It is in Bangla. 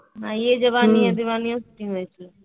ইয়ে জাবানি হ্যাঁয় দিওয়ানি হয়েছিল